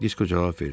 Disko cavab verdi.